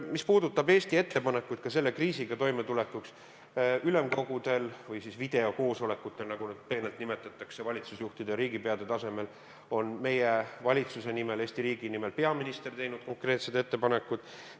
Mis puudutab Eesti ettepanekut ka selle kriisiga toimetulekuks, siis ülemkogudel – või siis videokoosolekutel, nagu neid pehmelt nimetatakse valitsusjuhtide ja riigipeade tasemel – on peaminister meie valitsuse nimel, Eesti riigi nimel teinud konkreetsed ettepanekud.